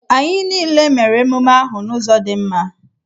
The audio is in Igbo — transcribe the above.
Anyị niile mere emume ahụ n'ụzọ dị mma.